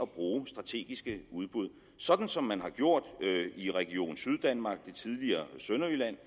bruge strategiske udbud sådan som man har gjort i region syddanmark det tidligere sønderjyllands